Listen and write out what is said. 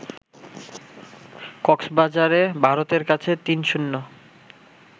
কক্সবাজারে ভারতের কাছে ৩-০